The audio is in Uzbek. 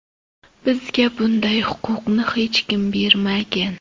Bizga bunday huquqni hech kim bermagan.